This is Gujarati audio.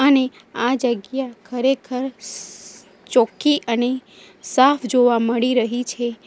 અને આ જગ્યા ખરેખર ચોખ્ખી અને સાફ જોવા મળી રહી છે.